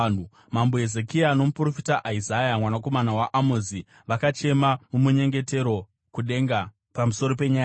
Mambo Hezekia nomuprofita Isaya mwanakomana waAmozi vakachema mumunyengetero kudenga pamusoro penyaya iyi.